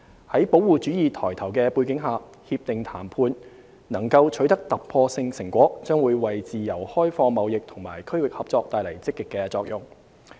在保護主義抬頭的背景下，《協定》談判能夠取得突破性成果，將會為自由開放貿易和區域合作帶來積極作用。